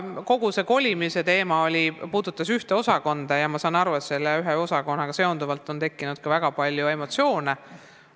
Kogu see kolimise teema puudutab ühte osakonda ja ma saan aru, et selle ühe osakonnaga seonduvalt on ka väga palju emotsioone tekkinud.